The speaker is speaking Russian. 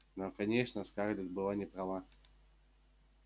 но конечно скарлетт была не права